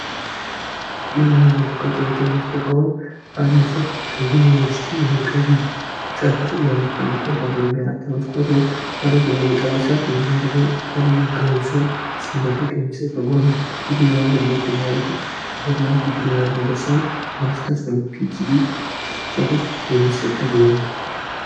ይህ የምትመለከቱት የትምህርት ጋውን የዩኒቨርሲቲ ተማሪዎች በዩኒቨርሲቲ ውስጥ የአምስት አመት ቆይታውን ወይም ደግሞ የአራት ዓመት ቆይታውን ጨርሶ ሲወጣ የሚያደርገው ን ሲሆን ሲመረቅ የሚሰጠው ልዩ ጋውን ነው ይህ ጋውን ለየት የሚያደርገው ድግሪ ስትጨርስ ሳይሆን ማስተርስ ወይም ፒኤችዲ ስትጨርስ የሚደረግ ልዩ ጋውን ነው።